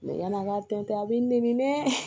yan'a ka to ten a b'i nɛni dɛ